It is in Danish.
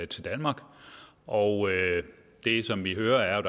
til danmark og det som vi hører er jo